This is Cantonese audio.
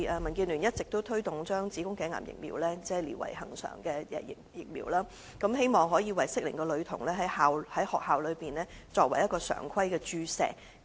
民建聯一直推動將子宮頸癌疫苗列為恆常接種的疫苗，希望能為適齡的女童在校內注射，成為常規的注射疫苗。